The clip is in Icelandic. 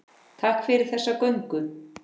Takk fyrir þessa göngu.